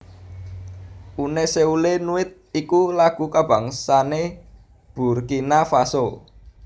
Une Seule Nuit iku lagu kabangsané Burkina Faso